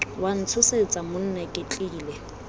wa ntshosetsa monna ke tlile